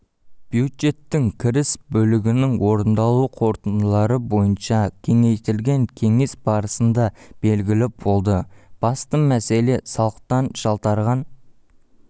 бюджеттің кіріс бөлігінің орындалу қорытындылары бойынша кеңейтілген кеңес барысында белгілі болды басты мәселе салықтан жалтарған